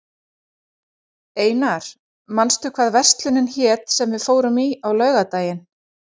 Einar, manstu hvað verslunin hét sem við fórum í á föstudaginn?